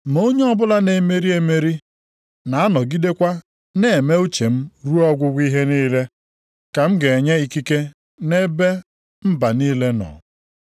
Ma onye ọbụla na-emeri emeri, na-anọgidekwa na-eme uche m ruo ọgwụgwụ ihe niile, ka m ga-enye ikike nʼebe mba niile nọ.